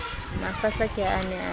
mafahla ke ha a ne